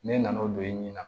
Ne nan'o don i nin na